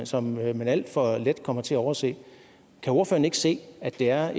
som man alt for let kommer til at overse kan ordføreren ikke se at det er